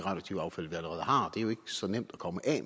er jo ikke så nemt at komme af